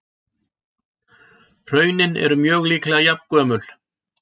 Hraunin eru mjög líklega jafngömul.